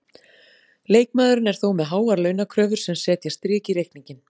Leikmaðurinn er þó með háar launakröfur sem setja strik í reikninginn.